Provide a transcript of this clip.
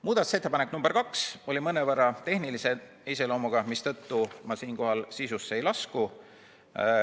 Muudatusettepanek nr 2 oli mõnevõrra tehnilise iseloomuga, mistõttu ma siinkohal sisusse ei lasku.